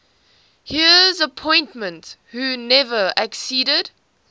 heirs apparent who never acceded